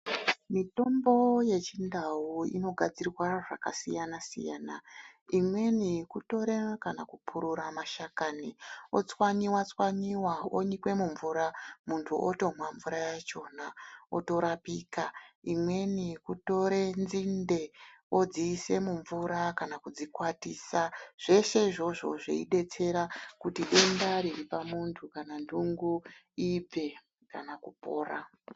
Mitombo yechi ndau ino gadzirwa zvaka siyana siyana imweni kutora kana kupurura mashakani o tswanyiwa tswanyiwa onyikwe mu mvura muntu otomwa mvura yachona oto rapika imweni yeku tore nzinde odzi ise mu mvura kana kudzi kwatisa zveshe izvozvo zvei detsera kuti denda riri pa muntu kana ndungu ibve kana kupora.